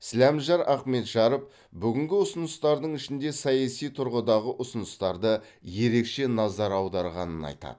сіләмжар ахметжаров бүгінгі ұсыныстардың ішінде саяси тұрғыдағы ұсыныстарды ерекше назар аударғанын айтады